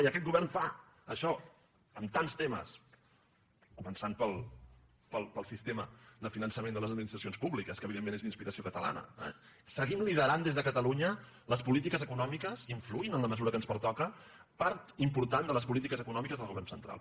i aquest govern fa això amb tants temes començant pel sistema de finançament de les administracions pú·bliques que evidentment és d’inspiració catalana eh seguim liderant des de catalunya les polítiques econò·miques influint en la mesura que ens pertoca en part important de les polítiques econòmiques del govern central